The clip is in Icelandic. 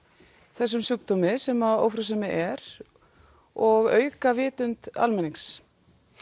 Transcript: þessum sjúkdómi sem ófrjósemi er og auka vitund almennings